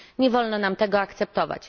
Nie wolno nam tego akceptować.